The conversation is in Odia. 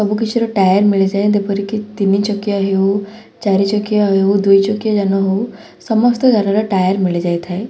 ଅବୁକିଛିର ଟାୟାର୍ ମିଳିଯାଏ ଦେପରିକି ତିନି ଚକିଆ ହେଉ ଚାରି ଚକିଆ ହେଉ ଦୁଇ ଚକିଆ ଯାନ ହଉ ସମସ୍ତ ଯାନର ଟାୟାର୍ ମିଳିଯାଇଥାଏ ।